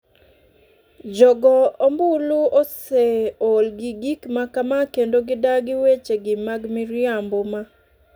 "Jogombulu oseol gi gik ma kama kendo gidagi weche gi mag miriambo ma